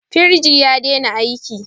Firiji ya dena aiki